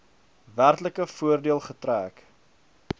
werklike voordeel getrek